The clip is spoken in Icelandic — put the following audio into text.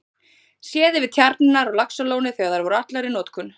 Séð yfir tjarnirnar á Laxalóni þegar þær voru allar í notkun.